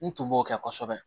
N tun b'o kɛ kosɛbɛ